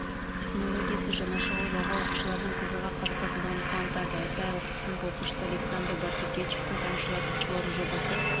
технологиясы жаңаша ойлауға оқушылардың қызыға қатысатындығы қуантады айталық сынып оқушысы александр барткевичтің тамшылатып суару жобасы